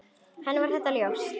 Og henni var þetta ljóst.